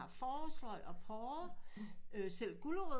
Forårsløg og porre øh selv gulerødder